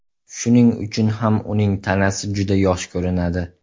Shuning uchun ham uning tanasi juda yosh ko‘rinadi.